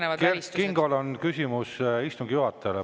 Nii, aga Kert Kingol on protseduuriline küsimus istungi juhatajale.